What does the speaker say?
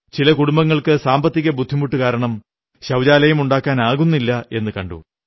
ചില കുടുംബങ്ങൾക്ക് സാമ്പത്തിക ബുദ്ധിമുട്ട് കാരണം ശൌചാലയം ഉണ്ടാക്കാനാകുന്നില്ലെന്നു കണ്ടു